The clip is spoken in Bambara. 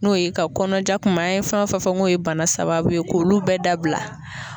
N'o ye ka kɔnɔjakuma an ye fɛn fɛn fɔ k'o ye bana sababu ye k'olu bɛɛ dabila